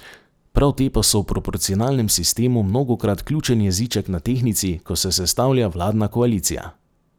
Prav te pa so v proporcionalnem sistemu mnogokrat ključen jeziček na tehtnici, ko se sestavlja vladna koalicija.